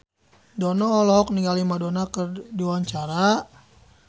Dono olohok ningali Madonna keur diwawancara